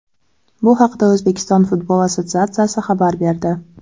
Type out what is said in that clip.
Bu haqda O‘zbekiston futbol assotsiatsiyasi xabar berdi .